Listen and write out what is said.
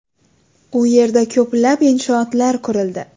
U yerda ko‘plab inshootlar qurildi.